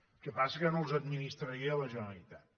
el que passa que no els administraria la generalitat